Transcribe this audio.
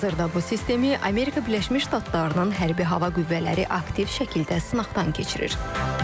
Hazırda bu sistemi Amerika Birləşmiş Ştatlarının hərbi hava qüvvələri aktiv şəkildə sınaqdan keçirir.